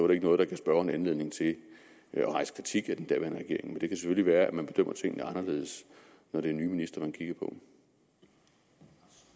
det ikke noget der gav spørgeren anledning til at rejse kritik af den daværende regering men det kan selvfølgelig være at man bedømmer tingene anderledes når det er nye ministre man kigger